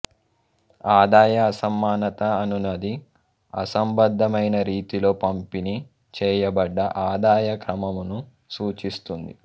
ఆదాయ అసమానత అనునది అసంబద్దమైన రీతిలో పంపిణీ చేయబడ్డ ఆదాయ క్రమమును సూచిస్తుంది